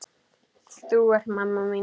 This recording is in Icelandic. Þú ert mamma mín.